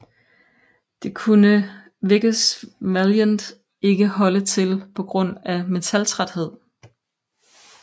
Det kunne Vickers Valiant ikke holde til på grund af metaltræthed